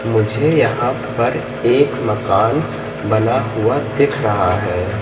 मुझे यहां पर एक मकान बना हुआ दिख रहा है।